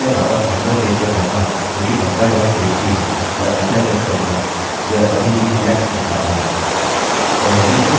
यदि मैं वापस मेम्बर पेज पर जाता हूँ जोकि member dot php है और एंटर प्रेस करता हूँ यह अभी भी alex दिखाता है